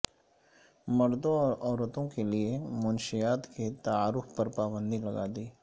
مردوں اور عورتوں کے لئے منشیات کے تعارف پر پابندی لگا دی